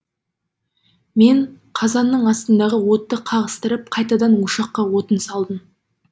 мен қазанның астындағы отты қағыстырып қайтадан ошаққа отын салдым